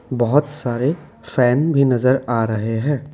बहुत सारे फैन भी नजर आ रहे हैं।